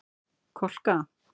Kolka